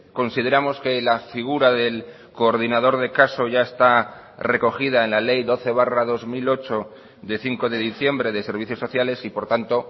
consideramos que la figura del coordinador de caso ya está recogida en la ley doce barra dos mil ocho de cinco de diciembre de servicios sociales y por tanto